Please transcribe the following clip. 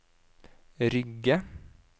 Rygge